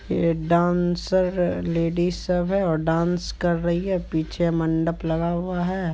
ये dancer ladies सब है और डांस कर रही है पीछे मंडप लगा हुआ है।